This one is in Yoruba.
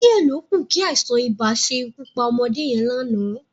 Díẹ̀ ló kù kí àìsàn-ibà ṣe ikú pa ọmọdé yẹn lánàá